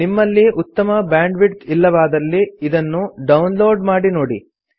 ನಿಮ್ಮಲ್ಲಿ ಉತ್ತಮ ಬ್ಯಾಂಡ್ವಿಡ್ತ್ ಇಲ್ಲವಾದಲ್ಲಿ ಇದನ್ನು ಡೌನ್ ಲೋಡ್ ಮಾಡಿ ನೋಡಿ